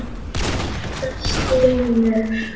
Edda stynur.